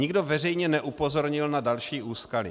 Nikdo veřejně neupozornil na další úskalí.